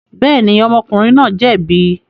Bẹ́ẹ̀ni, ọmọkùnrin náà jẹ̀bi.